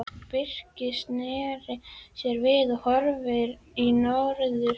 Birkir sneri sér við og horfði í norður.